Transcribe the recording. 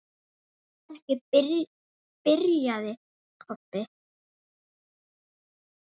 Það er ekki. byrjaði Kobbi.